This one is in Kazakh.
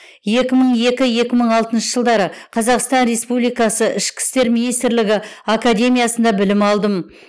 екі мың екі екі мың алтыншы жылдары қазақстан республикасы ішкі істер министрлігі академиясында білім алдым